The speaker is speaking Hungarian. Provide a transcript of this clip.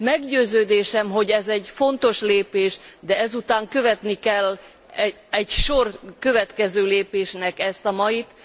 Meggyőződésem, hogy ez egy fontos lépés, de ezután követnie kell egy sor következő lépésnek ezt a mait.